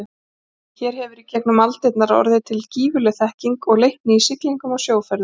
Hér hefur í gegnum aldirnar orðið til gífurleg þekking og leikni í siglingum og sjóferðum.